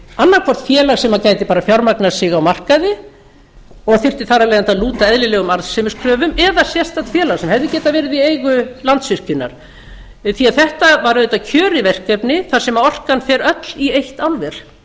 annað hvort félag sem gæti bara fjármagnað sig á markaði og þyrfti þar af leiðandi að lúta eðlilegum arðsemiskröfum eða sérstakt félag sem hefði getað verið í eigu landsvirkjunar því að þetta var auðvitað kjörið verkefni þar sem orkan fer öll í eitt álver